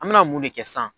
An me na mun de kɛ sisan